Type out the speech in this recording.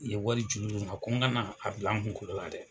I ye wari juru don n na ko n kana a bila an kunkoro la dɛ.